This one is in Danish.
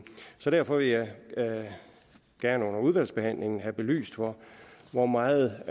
så derfor vil jeg jeg under udvalgsbehandlingen gerne have belyst hvor meget